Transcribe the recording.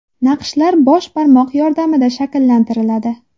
Naqshlar bosh barmoq yordamida shakllantiriladi.